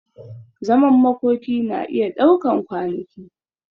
Zaman makoki na iya daukan kwanaki.